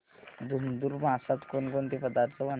धुंधुर मासात कोणकोणते पदार्थ बनवतात